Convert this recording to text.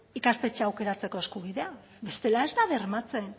ikastetxea aukeratzeko eskubidea bestela ez da bermatzen